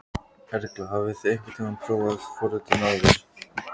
Erla: Hafið þið einhvern tímann prófað forritun áður?